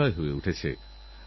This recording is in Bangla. রিওতেউড়ুক বিজয় নিশান